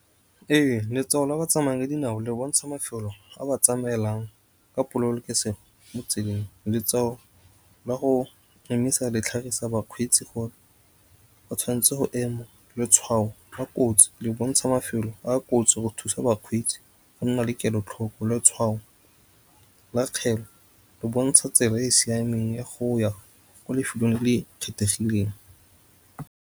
Ee, letshwao la batsamaya ka dinao le bontsha mafelo a ba tsamaelang ka pololokesego mo tseleng. Letshwao la go emisa le tlhagisa bakgweetsi go tshwanetse go ema. Letshwao la kotsi le bontsha mafelo a kotsi go thusa bakgweetsi go nna le kelotlhoko. Letshwao la le bontsha tsela e e siameng ya go ya ko lefelong le le kgethegileng.